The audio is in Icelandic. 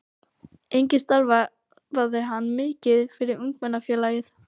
Einnig starfaði hann mikið fyrir Ungmennafélagið.